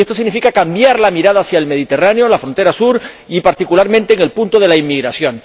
Y esto significa cambiar la mirada hacia el Mediterráneo, la frontera sur y, particularmente, en el punto de la inmigración.